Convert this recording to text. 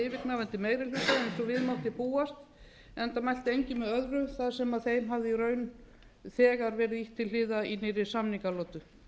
yfirgnæfandi meiri hluta eins og við mátti búast enda mælti enginn með öðru þar sem þeim hafði í raun þegar verið ýtt til hliðar í nýrri samningalotu